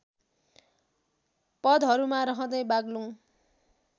पदहरूमा रहँदै बाग्लुङ